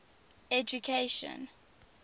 education